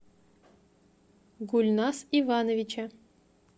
гульназ ивановича